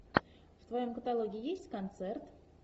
в твоем каталоге есть концерт